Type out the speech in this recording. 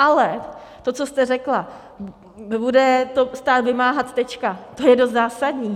Ale to, co jste řekla, bude to stát vymáhat, tečka, to je dost zásadní.